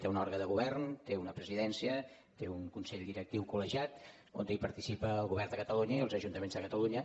té un òrgan de govern té una presidència té un consell directiu col·legiat on participen el govern de catalunya i els ajuntaments de catalunya